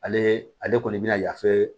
Ale ale kɔni bɛna yafe